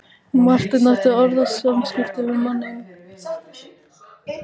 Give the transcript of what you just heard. Marteinn átti orðaskipti við manninn.